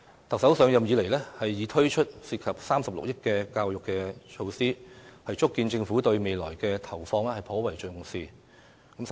特首上任以來，已推出涉及36億元的教育措施，足見政府對未來的投放頗為重視。